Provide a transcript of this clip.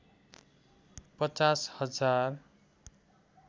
५० हजार